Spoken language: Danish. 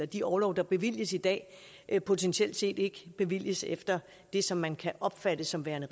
de orlover der bevilges i dag potentielt set ikke bevilges efter det som man kan opfatte som værende